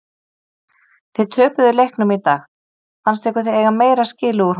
Þið töpuðu leiknum í dag fannst ykkur þið eiga meira skilið úr honum?